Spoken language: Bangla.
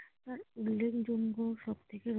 উল্লেখযোগ্য সবকিছুর একটা